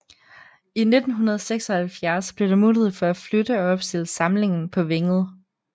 I 1976 blev der mulighed for at flytte og opstille samlingen på Vænget